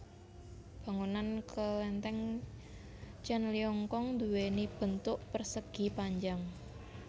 Bangunan kelenteng Tjen Ling Kiong duwéni bentuk persegi panjang